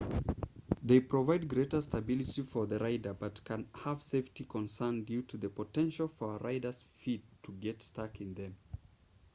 they provide greater stability for the rider but can have safety concerns due to the potential for a rider's feet to get stuck in them